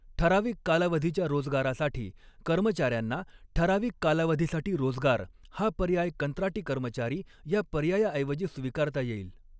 ठराविक कालावधीच्या रोजगारासाठी कर्मचाऱ्यांना ठराविक कालावधीसाठी रोजगार हा पर्याय कंत्राटी कर्मचारी या पर्यायाऐवजी स्वीकारता येईल.